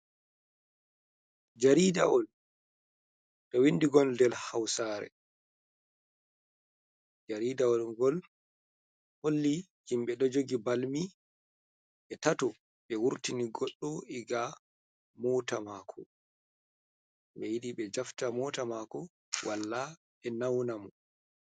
Jaridawol ɗo windi ngol nder hausare. Jaridawol ngol holli himɓe ɗo jogi balmi ɓe tato ɓe wurtini goɗɗo iga mota mako ɓe yiɗi ɓe jafta mota mako, walla ɓe nauna mo.